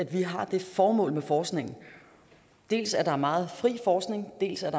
vi har det formål med forskningen dels at der er meget fri forskning dels at